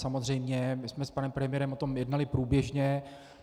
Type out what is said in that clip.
Samozřejmě my jsme s panem premiérem o tom jednali průběžně.